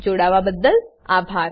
અમને જોડાવાબદ્દલ આભાર